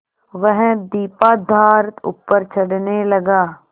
वह दीपाधार ऊपर चढ़ने लगा